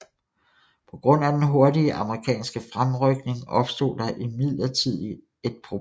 På grund af den hurtige amerikanske fremrykning opstod der imidlertid et problem